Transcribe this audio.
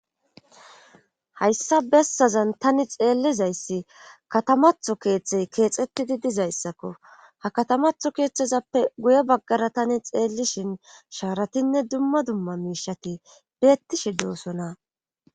hayssa bessazan tani xeellizayssi katamatho keeththey keexettidi dizayssakko ha katamatho keeththezappe guye baggara tani xeellishin shaaratinne dumma dumma miishati beettishe doosona